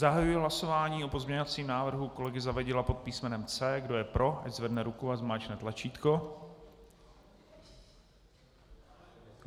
Zahajuji hlasování o pozměňovacím návrhu kolegy Zavadila pod písmenem C. Kdo je pro, ať zvedne ruku a zmáčkne tlačítko.